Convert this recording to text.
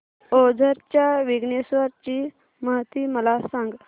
ओझर च्या विघ्नेश्वर ची महती मला सांग